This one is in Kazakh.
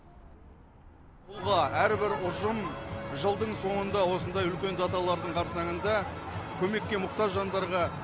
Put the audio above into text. тұлға әрбір ұжым жылдың соңында осындай үлкен даталардың қарсаңында көмекке мұқтаж жандарға